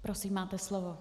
Prosím, máte slovo.